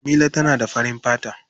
Jamila tana da farin fata.